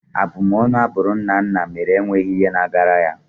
Abumọnu a bụrụ Nnanna mere enweghị ihe na-agara ya.